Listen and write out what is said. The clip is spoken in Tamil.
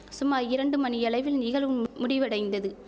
சுமார் இரண்டு மணியளவில் நிகழும் முடிவடைந்தது